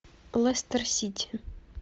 лестер сити